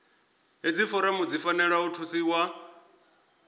hedzi foramu dzi fanela u thusiwa